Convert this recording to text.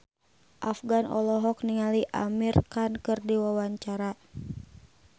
Afgan olohok ningali Amir Khan keur diwawancara